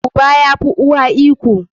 Uba ya fi uwa iko.